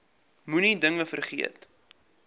moenie dinge vergeet